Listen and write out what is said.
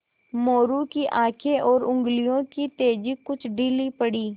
मोरू की आँखें और उंगलियों की तेज़ी कुछ ढीली पड़ी